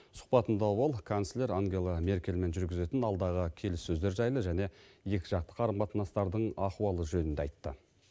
сұхбатында ол канцлер ангела меркельмен жүргізетін алдағы келіссөздер жайлы және екіжақты қарым қатынастардың ахуалы жөнінде айтты